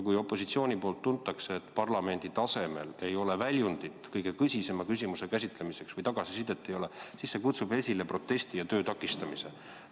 Kui opositsioonis tuntakse, et parlamendi tasemel ei ole väljundit kõige tõsisema küsimuse käsitlemiseks või ei ole tagasisidet, siis see kutsub esile protesti ja töö takistamise.